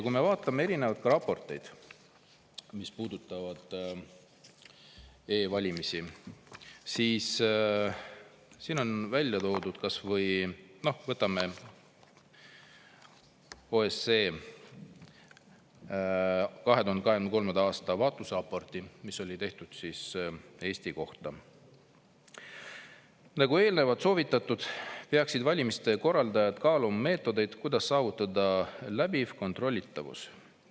Kui me vaatame erinevaid raporteid, mis puudutavad e-valimisi, siis võtame kas või OSCE 2023. aasta vaatlusraporti, mis on tehtud Eesti kohta: "Nagu eelnevalt soovitatud, peaksid valimiste korraldajad kaaluma meetodeid, kuidas saavutada läbiv kontrollitavus.